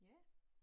Ja